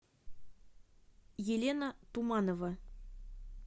елена туманова